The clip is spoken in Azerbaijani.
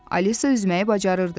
Alisa üzməyi bacarırdı.